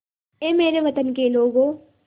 ऐ मेरे वतन के लोगों